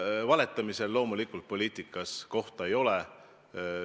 Valetamisel poliitikas loomulikult kohta ei ole.